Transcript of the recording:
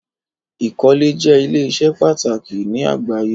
Ikọ́lẹ̀ jẹ̀ ilẹ̀-iṣẹ́ pàtàkì ni àgbàyé.